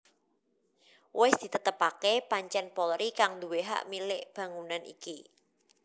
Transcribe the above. Wis ditetepaké pancèn Polri kang nduwé hak milik bangunan iki